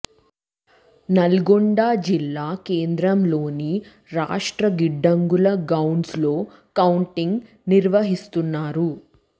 నల్గొండ జిల్లా కేంద్రంలోని రాష్ట్ర గిడ్డంగుల గౌడన్స్ లో కౌంటింగ్ నిర్వహిస్తున్నారు